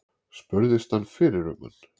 Spurðist hann fyrir um hann.